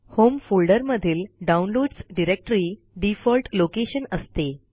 home फोल्डरमधील downloads directory default location असते